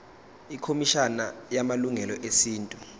ikhomishana yamalungelo esintu